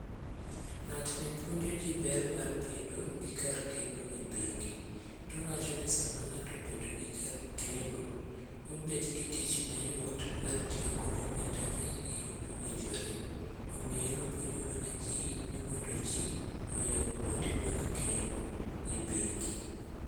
Ng'atni puonjo ji ber mar bedo gi kar kendo e bengi. Towacho ni sama ng'ato obedo gi kar keno, obet gi tich mayot mar tiyo kod omenda gi e yo mowinjore. Omiyo en opuonjo mana ji ni mondo ji oyaw kuonde mag keno e bengi.